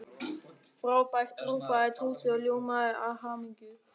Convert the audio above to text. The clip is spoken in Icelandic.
Frábært hrópaði Tóti og ljómaði af hamingju.